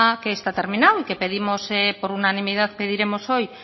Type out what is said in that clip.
que está terminado y que pedimos por unanimidad pediremos hoy